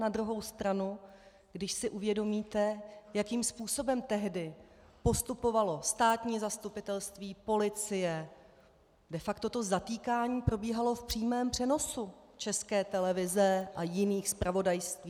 Na druhou stranu, když si uvědomíte, jakým způsobem tehdy postupovalo státní zastupitelství, policie, de facto to zatýkání probíhalo v přímém přenosu České televize a jiných zpravodajství.